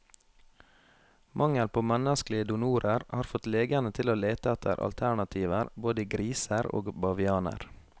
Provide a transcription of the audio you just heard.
Mangel på menneskelige donorer har fått legene til å lete etter alternativer, både i griser og bavianer.